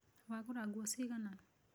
Wagũra nguo ciigana?